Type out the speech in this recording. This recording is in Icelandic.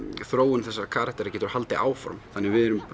þróun þessara karaktera getur haldið áfram þannig að við erum